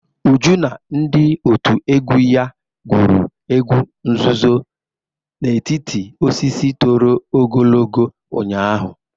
Uju na ndị otu egwu ya gwuru egwu nzuzo n'etiti osisi toro ogologo ụnyaahụ.